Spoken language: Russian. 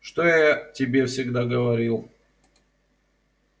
что я тебе всегда говорил